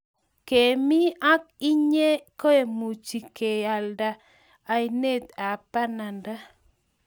kemi ak inye kemuchi ke lande ainet ab bananda